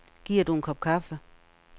Giver du en kop kaffe?